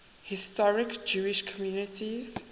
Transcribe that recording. historic jewish communities